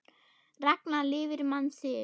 Ragna lifir mann sinn.